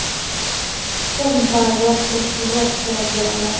tuxum va yog‘siz tvorog kerak bo‘ladi.